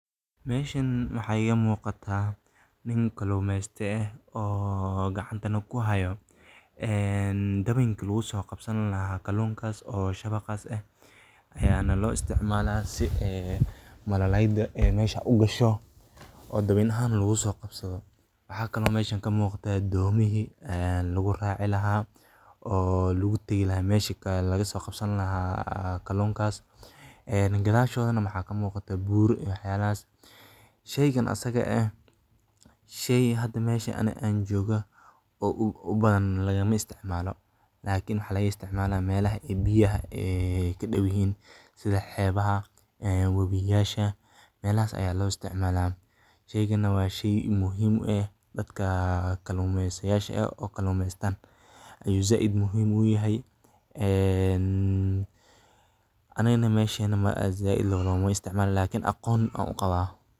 Meshaan waxay iga muuqataa nin kalluumeysata ah oo gacanta ku hayo dabinka lagu soo qabsan lahaa kalluunkaas. Shabaqas ayaa loo isticmaalaa si ay malaaydu halkaas ay u gasho oo dabiin ahaan looga soo qabsado. Waxaa kale oo meesha ka muuqda doomihii lagu raaci lahaa oo lagu tagi lahaa meesha laga soo qabsan lahaa kalluunkaas. Kadashoda waxaa ka muuqda buur iyo waxyaalahaas. Shaygan asaga ah hadda meesha aan joogo lagama isticmaalo, laakin maxaa laga isticmaalaa meelaha ay biyuhu ka da’ayaan sida xeebaha, webiyasha — meelahaas ayaa loo isticmaalaa. Shayganan waa shay muhiim ah, dadka kalluumeysatada oo kalluumeysanayaan ayuu si weyn muhiim ugu yahay. Anagana meeshaan zaid loogama isticmaalo, laakin aqoon waan u qaba.